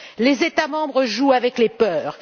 Les États membres jouent avec les peurs.